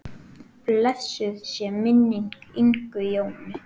Blessuð sé minning Ingu Jónu.